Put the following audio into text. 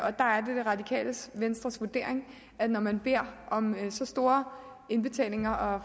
radikale venstres vurdering at når man beder om så store indbetalinger og